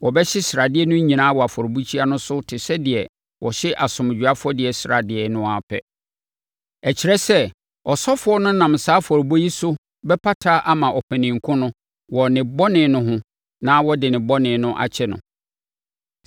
Wɔbɛhye sradeɛ no nyinaa wɔ afɔrebukyia no so te sɛ deɛ wɔhye asomdwoeɛ afɔdeɛ sradeɛ no ara pɛ; ɛkyerɛ sɛ, ɔsɔfoɔ no nam saa afɔrebɔ yi so bɛpata ama ɔpanin ko no wɔ ne bɔne no ho na wɔde ne bɔne no bɛkyɛ no.